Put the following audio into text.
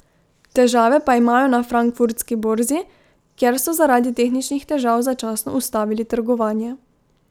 Težave pa imajo na frankfurtski borzi, kjer so zaradi tehničnih težav začasno ustavili trgovanje.